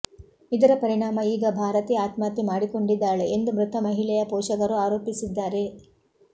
ಇದರ ಪರಿಣಾಮ ಈಗ ಭಾರತಿ ಆತ್ಮಹತ್ಯೆ ಮಾಡಿಕೊಂಡಿದ್ದಾಳೆ ಎಂದು ಮೃತ ಮಹಿಳೆಯ ಪೋಷಕರು ಆರೋಪಿಸಿದ್ದಾರೆ